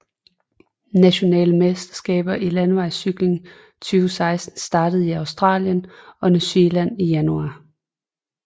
Nationale mesterskaber i landevejscykling 2016 startede i Australien og New Zealand i januar